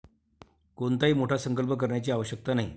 कोणताही मोठा संकल्प करण्याची आवश्यकता नाही.